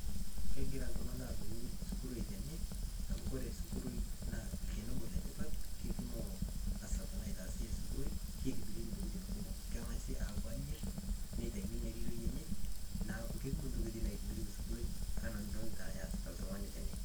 Kegira oltung'ani adung'u osuguroi tene, amu kore osuguroi olnchani obo letipat, kekumok enaitaasi esugoroi. Keitasi Intokitin kumok, keng'asi ayierr aitau ina riroi neeku kekumok Intokitin naitobirieki osuguroi enaa enodaalta eesita oltung'ani tene.